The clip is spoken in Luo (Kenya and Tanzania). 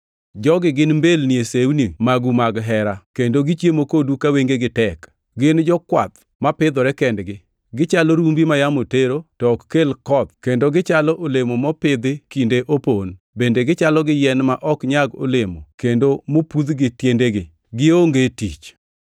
Jogi gin mbelni e sewni magu mag hera, kendo gichiemo kodu ka wengegi tek, gin jokwath mapidhore kendgi! Gichalo rumbi ma yamo tero to ok kel koth kendo gichalo olemo mopidhi kinde opon bende gichalo gi yien ma ok nyag olemo kendo mopudh gi tiendegi, gionge tich.